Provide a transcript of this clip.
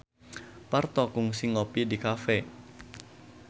Parto kungsi ngopi di cafe